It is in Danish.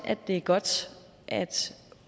er godt at